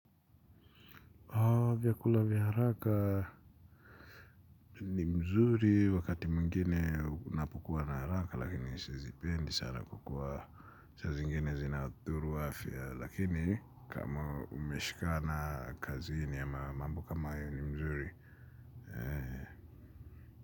Vyakula vya haraka ni mzuri wakati mwingine unapokua na haraka lakini sizipendi sana kukula saa zingine zinadhuru afya lakini kama umeshikana kazini ama mambo kama hayo ni vizuri.